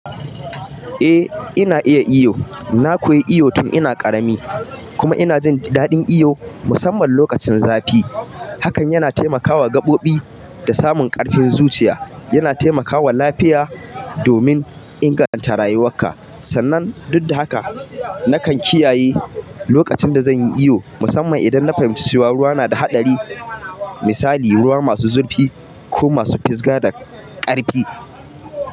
Ina iya iyo. Na koyi iyo tun ina ƙarami, kuma ina jin daɗin iyo musamman lokacin zafi. Hakan yana taimakawa gaɓoɓi da samun ƙarfin zuciya. Yana taimakawa lafiya domin inganta rayuwarka. Sannan, duk da haka, nakan kiyaye lokacin da zan yi iyo, musamman idan na fahimci cewa ruwa yana da haɗari, misali ruwa masu zurfi ko masu fizga da ƙarfi.